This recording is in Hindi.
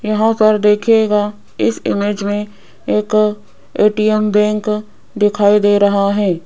यहां पर देखिएगा इस इमेज में एक ए_टी_एम बैंक दिखाई दे रहा है।